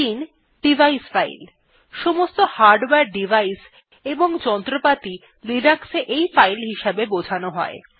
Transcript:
৩ device file সমস্ত hardware device এবং যন্ত্রপাতি লিনাক্সে এই ফাইল হিসেবে বোঝানো হয়